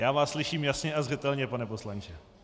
Já vás slyším jasně a zřetelně, pane poslanče.